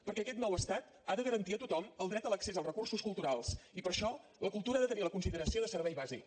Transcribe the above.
perquè aquest nou estat ha de garantir a tothom el dret a l’accés als recursos culturals i per això la cultura ha de tenir la consideració de servei bàsic